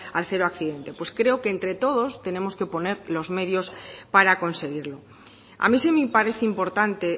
al cero accidente pues creo que entre todos tenemos que poner los medios para conseguirlo a mí sí me parece importante